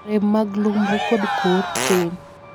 rem mag lumru kod kor tin